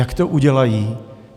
Jak to udělají?